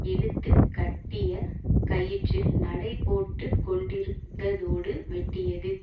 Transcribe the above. இழுத்து கட்டிய கயிற்றில் நடை போட்டு கொண்டிருந்ததோடு வெட்டியது